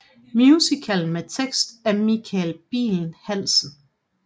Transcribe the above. Musical med tekst af Michael Bihl Hansen